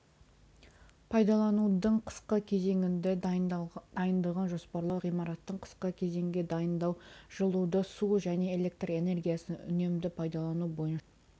пайдаланудың қысқы кезеңіне дайындығын жоспарлау ғимараттың қысқы кезеңге дайындау жылуды су және электр энергиясын үнемді пайдалану бойынша